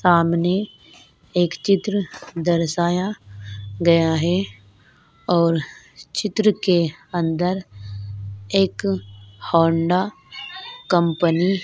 सामने एक चित्र दर्शाया गया है और चित्र के अंदर एक होंडा कंपनी --